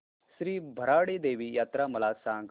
श्री भराडी देवी यात्रा मला सांग